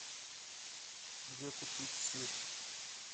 где купить сыр